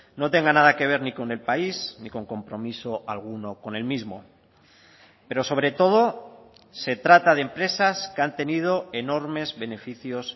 no tenga nada que ver ni con el país ni con compromiso alguno con el mismo pero sobre todo se trata de empresas que han tenido enormes beneficios